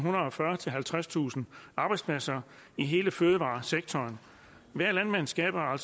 halvtredstusind arbejdspladser i hele fødevaresektoren hver landmand skaber